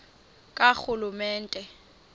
karhulumente